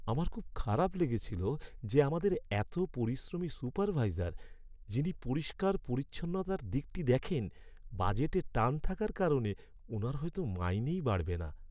আমার খুব খারাপ লেগেছিল যে আমাদের এত পরিশ্রমী সুপারভাইজার, যিনি পরিষ্কার পরিচ্ছন্নতার দিকটা দেখেন, বাজেটে টান থাকার কারণে ওনার হয়তো মাইনেই বাড়বে না।